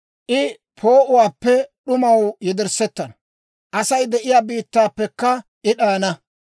I poo'uwaappe d'umaw yederssettana; Asay de'iyaa biittaappekka I d'ayana.